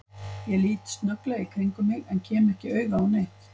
Ég lít snögglega í kringum mig en kem ekki auga á neitt.